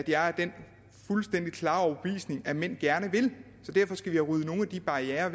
jeg er af den fuldstændig klare overbevisning at mænd gerne vil så derfor skal vi have ryddet nogle af de barrierer af